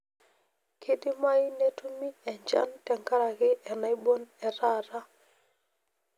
kidimayu nitumi enjan tenkaraki enaibon etaata